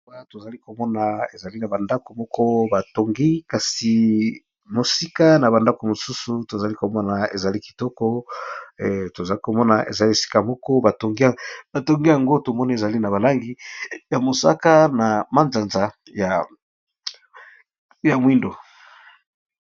Tozali komona ezali na ba ndako moko batongi kasi mosika na ba ndako mosusu tozali komona ezali kitoko tozali komona ezali esika moko ba tongi, ba tongi yango tomoni ezali na balangi ya mosaka na manzanza ya mwindo.